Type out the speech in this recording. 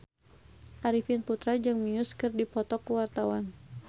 Arifin Putra jeung Muse keur dipoto ku wartawan